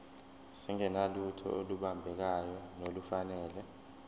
singenalutho olubambekayo nolufanele